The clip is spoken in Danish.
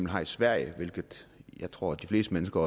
har i sverige hvilket jeg tror at de fleste mennesker